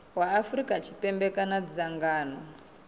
wa afrika tshipembe kana dzangano